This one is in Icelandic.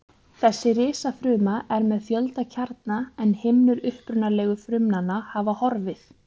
Þessi risafruma er með fjölda kjarna en himnur upprunalegu frumnanna hafa horfið.